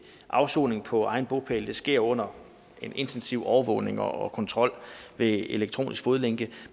afsoning på egen bopæl sker under en intensiv overvågning og kontrol ved elektronisk fodlænke